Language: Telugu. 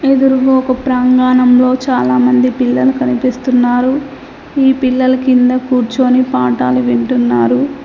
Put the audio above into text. ఎదురుగా ఒక ప్రాంగణంలో చాలా మంది పిల్లలు కనిపిస్తున్నారు ఈ పిల్లలు కింద కూర్చొని పాఠాలు వింటున్నారు.